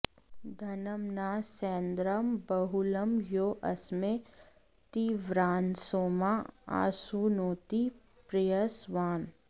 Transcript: धनं॒ न स्य॒न्द्रं ब॑हु॒लं यो अ॑स्मै ती॒व्रान्सोमाँ॑ आसु॒नोति॒ प्रय॑स्वान्